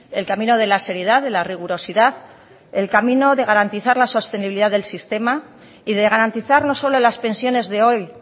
el camino de la seriedad de la rigurosidad el camino de garantizar la sostenibilidad del sistema y de garantizar no solo las pensiones de hoy